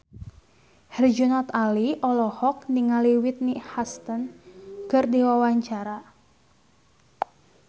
Herjunot Ali olohok ningali Whitney Houston keur diwawancara